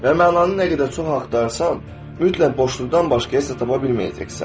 Və mənanı nə qədər çox axtarsan, mütləq boşluqdan başqa heç nə tapa bilməyəcəksən.